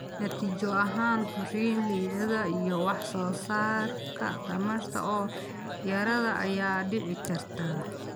Natiijo ahaan, korriin liidata iyo wax soo saarka tamarta oo yaraada ayaa dhici karta.